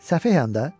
Səfehən də?